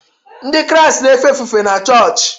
Ndị Kraịst na-efe ofufe n’choochi.